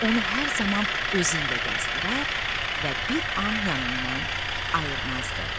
Onu hər zaman özü ilə gəzdirər və bir an yanından ayırmazdı.